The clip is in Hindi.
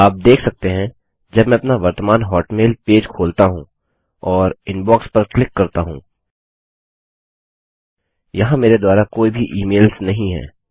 आप देख सकते हैं जब मैं अपना वर्तमान हॉटमेल पेज खोलता हूँ और इनबॉक्स पर क्लिक करता हूँ यहाँ मेरे द्वारा कोई भी इमेल्स नहीं है